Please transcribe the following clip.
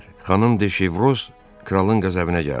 Xanım de Şevroz kralın qəzəbinə gəldi.